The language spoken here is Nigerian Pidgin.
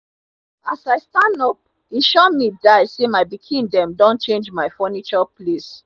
as i stand up e sure mi die say my pikin them don change my funiture place